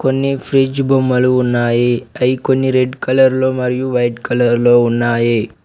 కొన్ని ఫ్రిడ్జ్ బొమ్మలు ఉన్నాయి అయి కొన్ని రెడ్ కలర్ మరియు వైట్ కలర్ లో ఉన్నాయి.